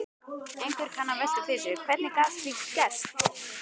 Einhver kann að velta fyrir sér: Hvernig gat slíkt gerst?